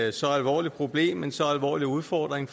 et så alvorligt problem en så alvorlig udfordring